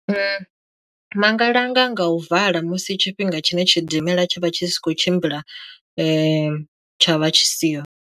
Ma nga langala nga u vala musi tshifhinga tshine tshidimela tsha vha tshi si khou tshimbila tsha vha tshi siho.